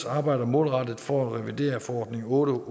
arbejder målrettet for at revidere forordning otte